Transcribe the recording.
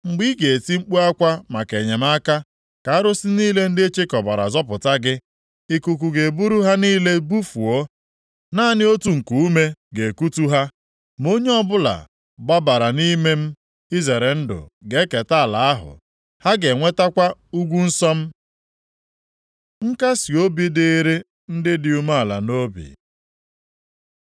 Mgbe ị ga-eti mkpu akwa maka enyemaka, ka arụsị niile ndị ịchịkọbara zọpụta gị. Ikuku ga-eburu ha niile bufuo, naanị otu nkuume ga-ekutu ha. Ma onye ọbụla gbabara nʼime m izere ndụ ga-eketa ala ahụ; ha ga-enwetakwa ugwu nsọ m.” Nkasiobi dịrị ndị dị umeala nʼobi